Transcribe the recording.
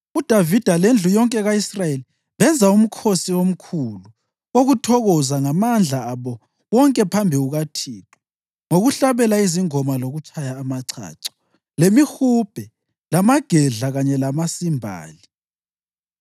UDavida lendlu yonke ka-Israyeli benza umkhosi omkhulu wokuthokoza ngamandla abo wonke phambi kukaThixo ngokuhlabela izingoma lokutshaya amachacho, lemihubhe, lamagedla kanye lamasimbali.